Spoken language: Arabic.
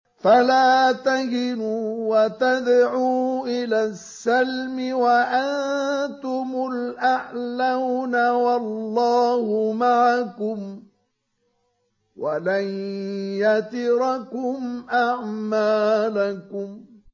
فَلَا تَهِنُوا وَتَدْعُوا إِلَى السَّلْمِ وَأَنتُمُ الْأَعْلَوْنَ وَاللَّهُ مَعَكُمْ وَلَن يَتِرَكُمْ أَعْمَالَكُمْ